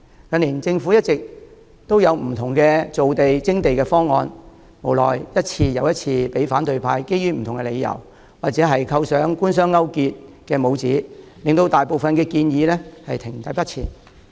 近年政府一直提出各項造地、徵地方案，無奈一次又一次被反對派基於不同的理由阻撓，或者扣上官商勾結的帽子，令大部分建議停滯不前。